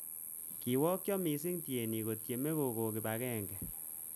Kiwaakcha missing tienik kotyeme kokon kibagenge